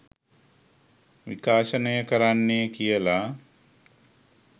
විකාශනය කරන්නේ කියලා.